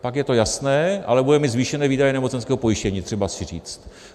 Pak je to jasné, ale budeme mít zvýšené výdaje nemocenského pojištění, třeba si říct.